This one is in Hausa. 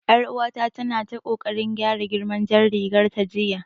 Yar uwata tana ta kokarin gyara girman jar rigar ta jiya